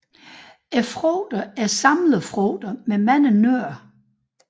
Frugterne er samlefrugter med mange nødder